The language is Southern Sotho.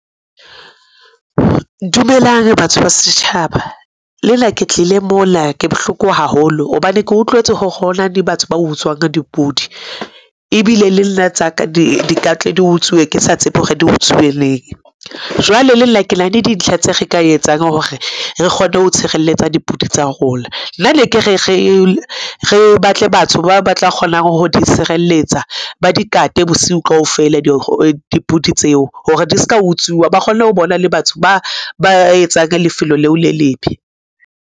Dumelang batho ba setjhaba, lenna ke tlile mona ke bohloko haholo hobane ke utlwetse hore hona le batho ba utswang dipudi. Ebile le nna tsa ka di kantle, di utsuwe, ke sa tsebe hore di utsuwe neng. Jwale le nna ke na le dintlha tse re ka etsang hore re kgone ho tshireletsa dipudi tsa rona. Nna ne ke re re batle batho ba tla kgonang ho di tshireletsa, ba di kate bosiu kaofela dipudi tseo hore di ska utsuwa, ba kgone ho bona le batho ba ba etsang lefelo leo le lebe.